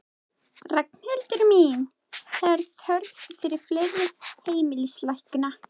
Ragnhildur mín, það er þörf fyrir fleiri heimilislækna.